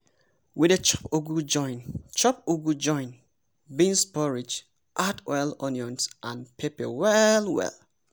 we dey chop ugu join chop ugu join beans porridge add oil onions and pepper well well.